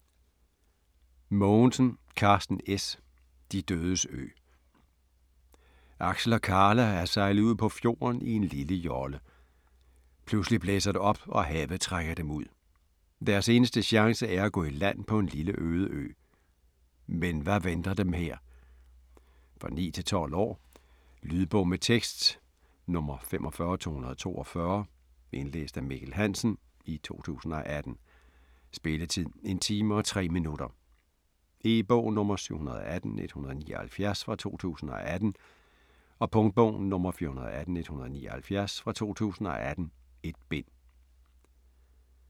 Mogensen, Karsten S.: De dødes ø Aksel og Karla er sejlet ud på fjorden i en lille jolle. Pludselig blæser det op, og havet trækker dem ud. Deres eneste chance er at gå i land på en lille øde ø. Men hvad venter dem her? For 9-12 år. Lydbog med tekst 45242 Indlæst af Mikkel Hansen, 2018. Spilletid: 1 time, 3 minutter. E-bog 718179 2018. Punktbog 418179 2018. 1 bind.